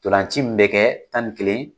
Ntolanci min bɛ kɛ tan ni kelen